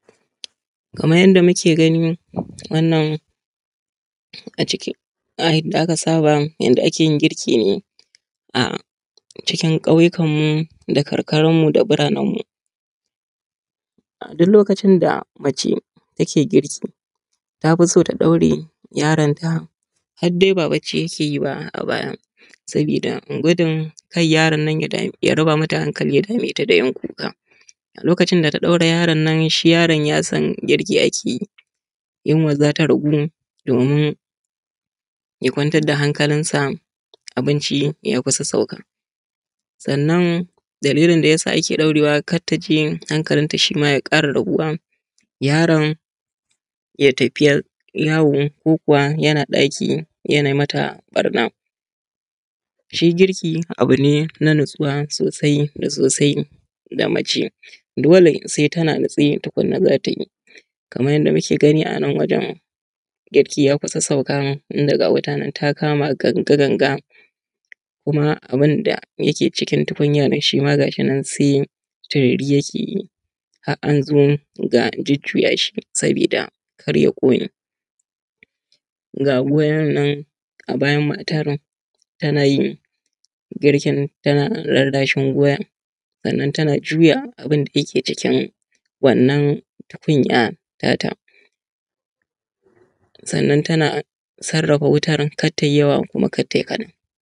Kamar yanda muke gani wannan a yanda aka saba yanda ake yin girki ne a cikin ƙauyukanmu da karkaranmu da burananmu. A duk lokacin da mace take girki ta fi son ta ɗaure yaronta har dai ba bacci yake yi ba a baya, saboda gudun kar yaron nan ya raba mata hankali, ya dame ta da yin kuka. A lokacin da ta ɗaure yaron nan shi yaron ya san girki ake yi yunwa za ta ragu, domin ya kwantar da hankalinsa abinci ya kusa sauka. Sannan dalilin da ya sa ake ɗaurewa kar ta je hankalinta shi ma ya ƙara rabuwa yaron ya tafi yawo ko kuwa yana ɗaki yana mata ɓarna. Shi girki abu ne na natsuwa sosai da sosai ga mace dole sai tana natse tukunan za ta yi kamar yanda muke gani a nan wajan girki ya kusa sauka tunda ga wuta nan ta kama ganga ganga, kuma abin da ke cikin tukunyan shi ma ga shi nan sai turiri yake yi, har an zo ga jujjuya shi sabida kar ya ƙone. Ga goyan nan a bayan matan tana yin girki tana lallashin goyan, sannan tana juya abin da yake cikin wannan tukunya ta ta. Sannan tana sarrafa watar kar ta yi yawa kar tai kaɗan.